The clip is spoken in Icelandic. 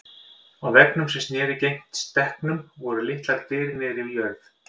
Á veggnum sem sneri gegnt stekknum voru litlar dyr niðri við jörð.